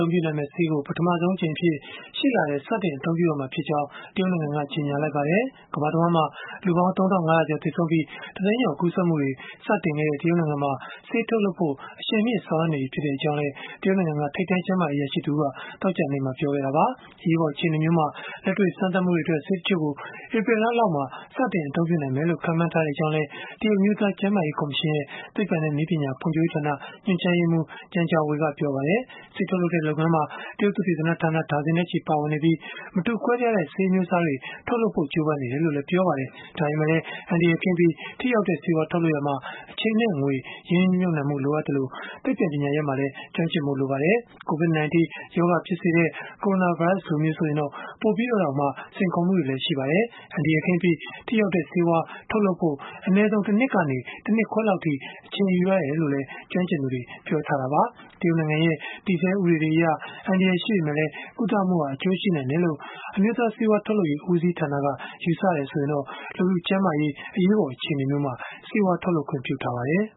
ုံးပြုနိုင်မယ့် ကာကွယ်ဆေး ကို ပထမဆုံးအကြိမ်အဖြစ် ရှေ့လထဲမှာ စတင်အ သုံးပြုနိုင်ဖွယ် ရှိတယ်လို့ တရုတ်နိုင်ငံက ကြေညာလိုက်ပါတယ်။ ကမ္ဘာတဝှမ်းမှာ လူပေါင်း ၃,၅၀၀ ကျော် သေဆုံးပြီး ၁ သိန်းကျော် ကူးစက်မှုတွေ စတင်ခဲ့တဲ့ တရုတ်နိုင်ငံမှာ ဆေးထုတ်လုပ်ဖို့ အရှိန်မြှင့် ဆောင်ရွက်နေပြီဖြစ်ကြောင်းလည်း တရုတ်နိုင်ငံက ထိပ်တန်း ကျန်းမာရေး အရာရှိတဦးက သောကြာနေ့မှာပဲ ပြောခဲ့တာပါ။ အရေးပေါ်အခြေအနေမျိုးမှာ လက်တွေ့စမ်းသပ်မှုတွေအတွက် ဆေးတချို့ကို ဧပြီလလောက်မှာ စတင်အသုံးပြုနိုင်လိမ့်မယ်လို့ ခန့်မှန်းထားကြောင်းလည်း တရုတ်အမျိုးသား ကျန်းမာရေးကော်မရှင်ရဲ့ သိပ္ပံနဲ့နည်းပညာ ဖွံ့ဖြိုးရေးဌာန ညွှန်ကြားရေးမှူး Zheng Zhongwei က ပြောပါတယ်။ ဆေးထုတ်လုပ်တဲ့ လုပ်ငန်းမှာ တရုတ်သုတေသနဌာန ဒါဇင်နဲ့ချီ ပါဝင်နေပြီး မတူကွဲပြားတဲ့ ဆေးအမျိုးစားတွေ ထုတ်လုပ်ဖို့ ကြိုးပမ်းနေတယ်လို့လည်း ပြောပါတယ်။ ဒါပေမယ့်လည်း အန္တရာယ်ကင်းပြီး ထိရောက်တဲ့ ဆေးဝါးထုတ်လုပ်ရာမှာ အချိန်နဲ့ ငွေ ရင်းနှီးမြှုပ်နှံဖို့ လိုအပ်သလို သိပ္ပံပညာရပ်မှာလည်း ကျွမ်းကျင်ဖို့ လိုပါတယ်။ COVID-19 ရောဂါ ဖြစ်စေတဲ့ ကိုရိုနာဗိုင်းရပ်စ်လိုမျိုး ဆိုရင်တော့ ပိုပြီးတော့တောင် စိန်ခေါ်မှုတွေလည်း ရှိပါတယ်။ အန္တရာယ်ကင်းပြီး ထိရောက်တဲ့ ဆေးဝါးထုတ်လုပ်ဖို့ အနည်းဆုံး တနှစ်ကနေ တနှစ်ခွဲလောက်အထိ အချိန်ယူရတယ်လို့လည်း ကျွမ်းကျင်သူတွေက ပြောဆိုထားကြတာပါ။ တရုတ်နိုင်ငံရဲ့ တည်ဆဲဥပဒေတွေအရ အန္တရာယ်ရှိပေမယ့်လည်း ကုသမှုဟာ အကျိုးရှိနိုင်တယ်လို့ အမျိုးသားဆေးဝါးထုတ်လုပ်ရေး ဦးစီးဌာနက ယူဆတယ်ဆိုရင်တော့ လူထုကျန်းမာရေး အရေးပေါ် အခြေအနေမျိုးမှာ ဆေးဝါးထုတ်လုပ်ခွင့် ပြုထားပါတယ်